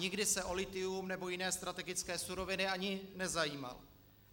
Nikdy se o lithium nebo jiné strategické suroviny ani nezajímal.